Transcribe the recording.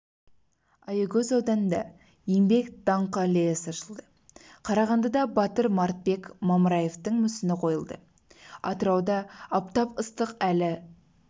аягөз ауданында еңбек даңқы аллеясы ашылды қарағандыда батыр мартбек мамраевтің мүсіні қойылды атырауда аптап ыстық әлі